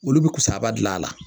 Olu bɛ kusaba dilan a la